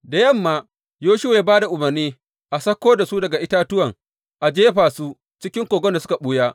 Da yamma Yoshuwa ya ba da umarni a sauko da su daga itatuwan a jefa su cikin kogon da suka ɓuya.